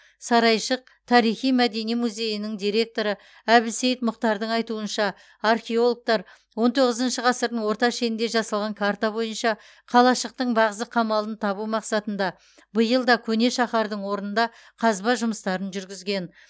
сарайшық тарихи мәдени музейінің директоры әбілсейт мұхтардың айтуынша археологтар он тоғызыншы ғасырдың орта шенінде жасалған карта бойынша қалашықтың бағзы қамалын табу мақсатында биыл да көне шаһардың орнында қазба жұмыстарын жүргізген